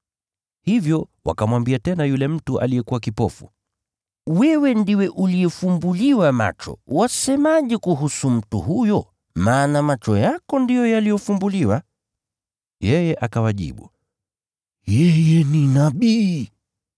Hivyo wakamwambia tena yule mtu aliyekuwa kipofu, “Wewe ndiwe uliyefumbuliwa macho, wasemaje kuhusu mtu huyo?” Maana macho yako ndiyo yaliyofumbuliwa. Yeye akawajibu, “Yeye ni nabii.”